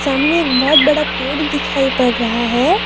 सामने एक बहोत बड़ा पेड़ दिखाई पड़ रहा है।